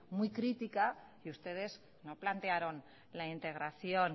muy crítica y ustedes no plantearon la integración